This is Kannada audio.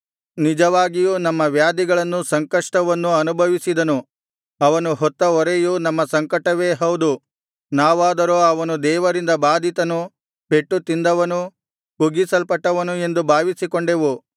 ನಿಜವಾಗಿಯೂ ನಮ್ಮ ವ್ಯಾಧಿಗಳನ್ನು ಸಂಕಷ್ಟವನ್ನು ಅನುಭವಿಸಿದನು ಅವನು ಹೊತ್ತ ಹೊರೆಯು ನಮ್ಮ ಸಂಕಟವೇ ಹೌದು ನಾವಾದರೋ ಅವನು ದೇವರಿಂದ ಬಾಧಿತನು ಪೆಟ್ಟು ತಿಂದವನು ಕುಗ್ಗಿಸಲ್ಪಟ್ಟವನು ಎಂದು ಭಾವಿಸಿಕೊಂಡೆವು